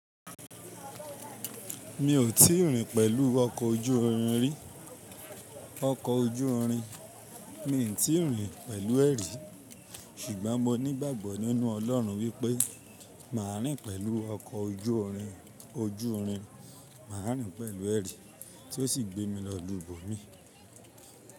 Mi ò tíì rìn pẹ̀lú ọkọ̀ ojú irin rí. Ọkọ̀ ojú irin, mi ò tíì rìn pẹ̀lú ẹ rí. Ṣùgbọ́n mo nígbàgbọ́ nínú Ọlọ́run wípé màá rìn pẹ̀lú ọkọ̀ ojú irin, ojú irin, màá rìn pẹ̀lú ẹrí tí ó sì gbé mi lọ ìlú ib'omíì.